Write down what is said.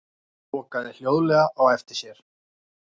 Lokaði hljóðlega á eftir sér.